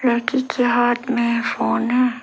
लड़की के हाथ में फोन है।